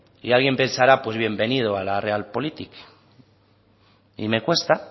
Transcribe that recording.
y alguien pensará que pues bienvenido a la real politic y me cuesta